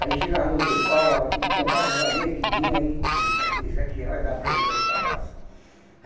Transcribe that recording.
Aí chegava no outro pau, aí ele contava as abelhas que tinha e disse, isso aqui isso aqui já vai dar para encher as cabaças.